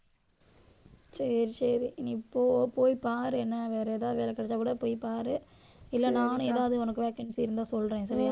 சரி சரி நீ போ போய் பாரு என்ன வேற ஏதாவது வேலை கிடைச்சா கூட போய் பாரு. இல்லை நானும் ஏதாவது உனக்கு vacancy இருந்தா சொல்றேன் சரியா